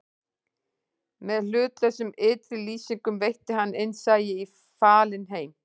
Með hlutlausum ytri lýsingum veitti hann innsæi í falinn heim